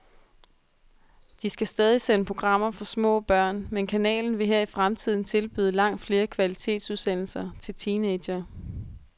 De skal stadig sende programmer for små børn, men kanalen vil her i fremtiden tilbyde langt flere kvalitetsudsendelser til teenagere.